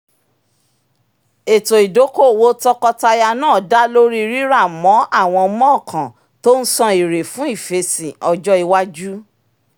ètò ìdókòòwò tọkọtaya náà dá lórí rírà mọ́ àwọn mọ́ọ̀kàn tó ń san èrè fún ìfèsìn ọjọ́ iwájú